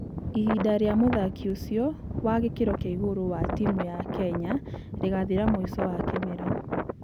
Ihinda rĩa muthaki ũcio wa gĩkĩro kĩa igũrũ wa timũ ya Kenya rĩgathira mwĩco wa kĩmera